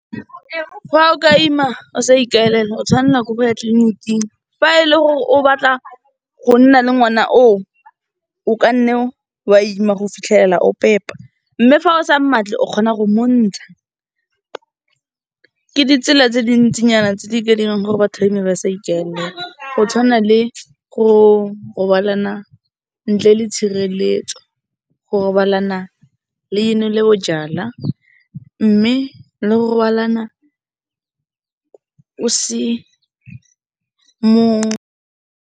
Fa o ka ima o sa ikaelela o tshwanna ke go ya tleliniking, fa e le gore o batla gonna le ngwana o, o kanne wa ima go fitlhela o pepa, mme fa o sa mmatle, o kgona go montsha, ke ditsela tse dintsinyana tse di ka dirang gore batho ba ime ba sa ikaelela, go tshwana le go robalana ntle le tshireletso, go robalana le nole bojalwa, mme le go robalana o se.